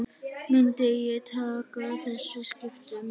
Myndi ég taka þessum skiptum?